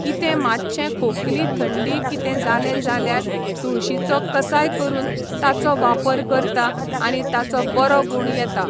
कितें मातशें खोकली थंडी कितें जालें जाल्यार तुळशीचो कसाय करून ताचो वापर करता आनी ताचो बरो गूण येता